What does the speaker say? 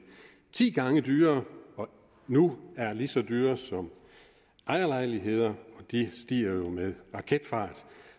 ti gange dyrere og nu er lige så dyre som ejerlejligheder og de stiger jo med raketfart